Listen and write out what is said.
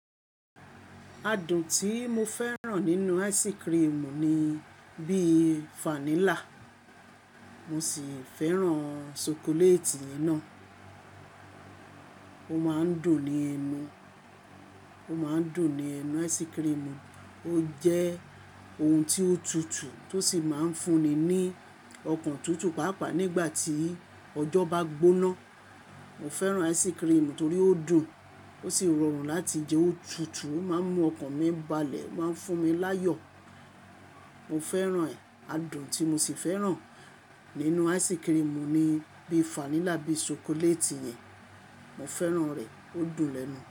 Adùn tí mo fẹ́ràn nínú ice cream ni bí i vanilla. Mo sì fẹ́ràn ṣokoléètì yẹn naa. Ó máa ń dùn ní ẹnu, ó máa ń dùn ní ẹnu ice cream. Ó jẹ́ ohun tí ó tutù tó sì máa ń fún ni ní ọkàn tutù pàápàá nígbà tí ọjọ́ bá gbóná. Mo fẹ́ràn ice cream torí ó dùn, ó sì rọrùn láti jẹ ó tutù. Ó máa ń mú ọkàn mi balẹ̀, ó máa ń fún mi láyọ̀. Mo fẹ́ràn ẹ̀. Adùn tí mo sì fẹ́ràn nínú ice cream ni bí i vanilla, bí i ṣokoléètì yẹn. Mo fẹ́ràn rẹ̀, ó dùn lẹnu.